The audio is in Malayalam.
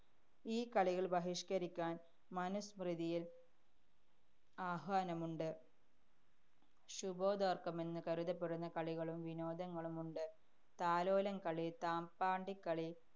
ഈ കളികള്‍ ബഹിഷ്കരിക്കാന്‍ മനുസ്മൃതിയില്‍ ആഹ്വാനമുണ്ട്. ശുഭോദര്‍ക്കമെന്ന് കരുതപ്പെടുന്ന കളികളും വിനോദങ്ങളുമുണ്ട്. താലോലം കളി, തപ്പാണ്ടിക്കളി,